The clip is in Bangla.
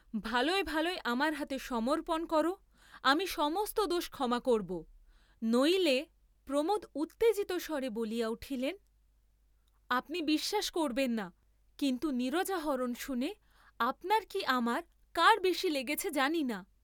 ভালয় ভালয় আমার হাতে সমর্পণ কর, আমি সমস্ত দোষ ক্ষমা করব, নইলে, প্রমোদ উত্তেজিতস্বরে বলিয়া উঠিলেন আপনি বিশ্বাস করবেন না কিন্তু নীরজা হরণ শুনে আপনার কি আমার কার বেশী লেগেছে জানি না।